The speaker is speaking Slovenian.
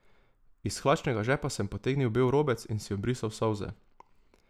Iz hlačnega žepa sem potegnil bel robec in si obrisal solze.